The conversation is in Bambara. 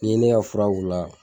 N'i ye ne ka fura k'u la